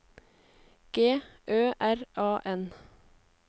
G Ø R A N